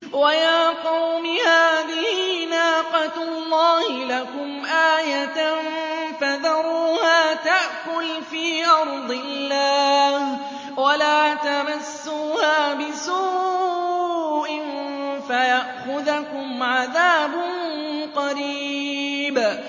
وَيَا قَوْمِ هَٰذِهِ نَاقَةُ اللَّهِ لَكُمْ آيَةً فَذَرُوهَا تَأْكُلْ فِي أَرْضِ اللَّهِ وَلَا تَمَسُّوهَا بِسُوءٍ فَيَأْخُذَكُمْ عَذَابٌ قَرِيبٌ